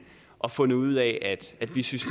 og fundet ud af at vi synes